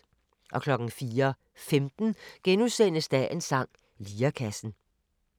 04:15: Dagens sang: Lirekassen *